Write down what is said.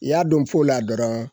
I y'a don fo la dɔrɔn